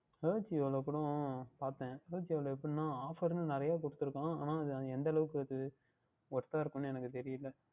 Ajio ல கூட பார்த்தேன் AJIO ல எப்படி என்றால் ன்னு நிறைய Offer ன்னு நிறைய கொடுத்து இருக்கிறார்கள் ஆனால் அது எந்த அளவிற்கு அது Worth தாக இருக்கும் என்று எனக்கு தெரியல